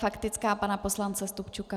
Faktická pana poslance Stupčuka.